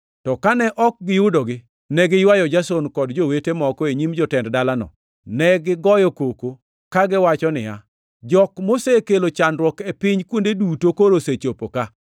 To kane ok giyudogi, ne giywayo Jason kod jowete moko e nyim jotend dalano. Negigoyo koko kagiwacho niya, “Jok mosekelo chandruok e piny kuonde duto koro osechopo ka,